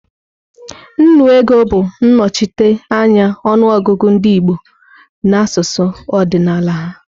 Nnu ego bụ nnochite anya ọnụ ọgụgụ ndị Igbo n'asụsụ ọdịnala ha.